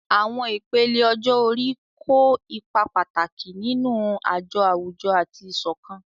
Àwọn ìpele ọjọ́ orí kó ipa pàtàkì nínú àjọ àwùjọ àti ìṣọ̀kan.